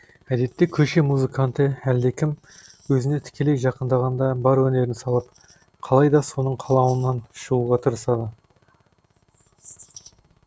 әдетте көше музыканты әлдекім өзіне тікелей жақындағанда бар өнерін салып қалайда соның қалауынан шығуға тырысады